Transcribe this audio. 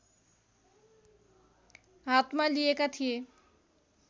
हातमा लिएका थिए